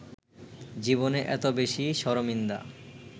জীবনে এত বেশি শরমিন্দা